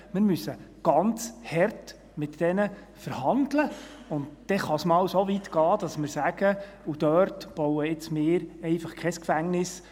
Wir müssen ganz hart mit diesen verhandeln, und dann kann es einmal so weit gehen, dass wir sagen: Dort bauen wir jetzt einfach kein Gefängnis.